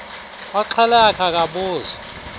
oxhela eyakhe akabuzwa